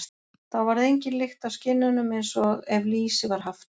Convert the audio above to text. Þá varð engin lykt af skinnunum, eins og ef lýsi var haft.